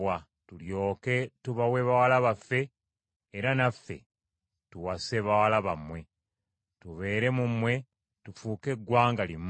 Tulyoke tubawe bawala baffe, era naffe tuwase bawala bammwe, tubeere mu mmwe tufuuke eggwanga limu.